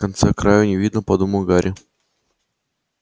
конца-краю не видно подумал гарри